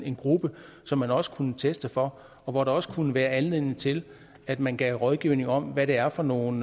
en gruppe som man også kunne teste for og hvor der også kunne være anledning til at man gav rådgivning om hvad det er for nogle